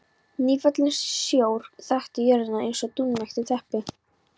Nýfallinn sjór þakti jörðina eins og dúnmjúkt teppi.